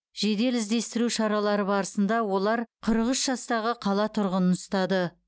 жедел іздестіру шаралары барысында олар қырық үш жастағы қала тұрғынын ұстады